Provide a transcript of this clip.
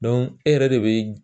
e yɛrɛ de bɛ